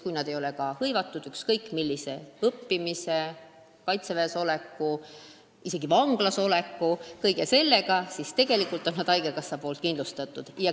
Kui nad ei ole hõivatud ükskõik kus õppimisega, ei ole ka kaitseväes või isegi vanglas, on nad tegelikult haigekassa poolt kindlustatud.